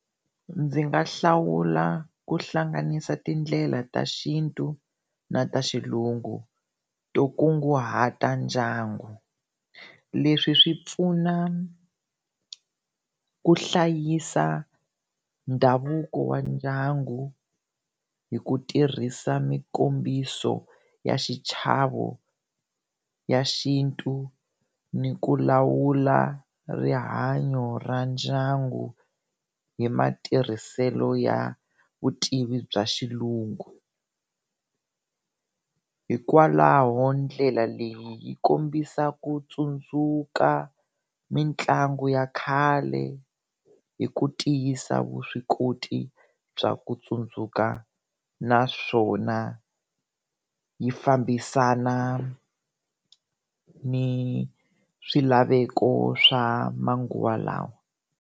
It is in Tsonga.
Ndzi nga hlawula ku hlanganisa tindlela ta xintu na ta xilungu to kunguhata ndyangu, leswi swi pfuna ku hlayisa ndhavuko wa ndyangu hi ku tirhisa mikombiso ya xichavo ya xintu ni ku lawula rihanyo ra ndyangu hi matirhiselo ya vutivi bya xilungu. Hikwalaho ndlela leyi yi kombisa ku tsundzuka mitlangu ya khale hi ku tiyisa vuswikoti bya ku tsundzuka naswona yi fambisana ni swilaveko swa manguva lawa.